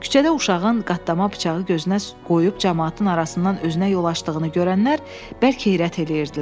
Küçədə uşağın qatlama bıçağı gözünə qoyub camaatın arasından özünə yol açdığını görənlər bərk heyrət eləyirdilər.